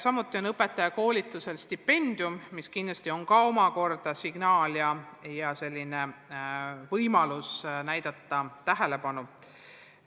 Samuti on õpetajakoolitusel ette nähtud stipendium, mis kindlasti ka on hea signaal ja võimalus näidata tähelepanu selle elukutse vastu.